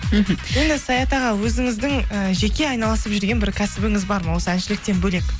мхм енді саят аға өзіңіздің і жеке айналысып жүрген бір кәсібіңіз бар ма осы әншіліктен бөлек